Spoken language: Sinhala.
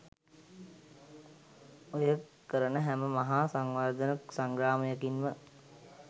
ඔය කරන හැම මහා සංවර්ධන සංග්‍රාමයකින්ම